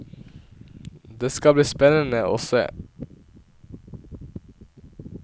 Det skal bli spennende å se.